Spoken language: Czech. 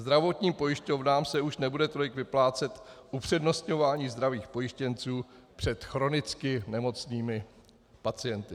Zdravotním pojišťovnám se už nebude tolik vyplácet upřednostňování zdravých pojištěnců před chronicky nemocnými pacienty.